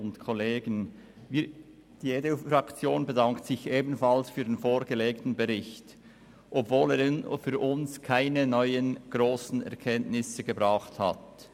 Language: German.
Die EDU-Fraktion bedankt sich ebenfalls für den vorgelegten Bericht, obwohl er für uns keine besonderen neuen Erkenntnisse gebracht hat.